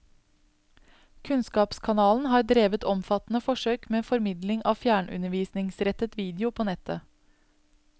Kunnskapskanalen har drevet omfattende forsøk med formidling av fjernundervisningsrettet video på nettet.